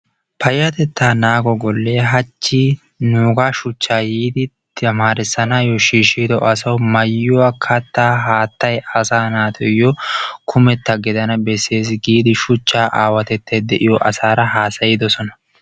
Payatettaa naago gollee hachchi nuugaa shuchaa yiidi tamaarisanaayoo shiishido asawu maayuwa, kataa , haataa, asa naatuyo kummeta gidana besees giidi shuchaa aawatettay diyogeetura haasayidosona.